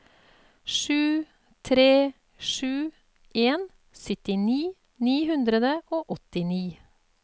sju tre sju en syttini ni hundre og åttini